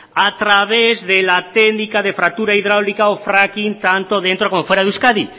a través de la técnica de fractura hidráulica o fracking tanto dentro como fuera de euskadi